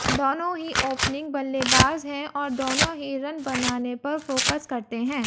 दोनों ही ओपनिंग बल्लेबाज हैं और दोनों ही रन बनाने पर फोकस करते हैं